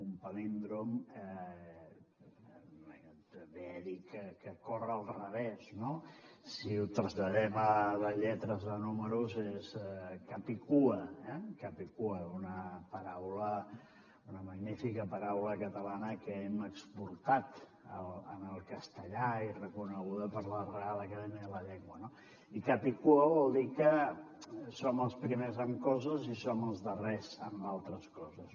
un palíndrom ve a dir que corre al revés no si ho traslladem de lletres a números és capicua eh capicua una magnífica paraula catalana que hem exportat al castellà i reconeguda per la reial acadèmia espanyola no i capicua vol dir que som els primers amb coses i som els darrers en altres coses